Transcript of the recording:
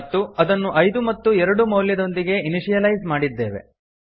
ಮತ್ತು ಅದನ್ನು ಐದು ಮತ್ತು ಎರಡು ಮೌಲ್ಯದೊಂದಿಗೆ ಇನಿಶಿಯಲೈಸ್ ಮಾಡಿದ್ದೇವೆ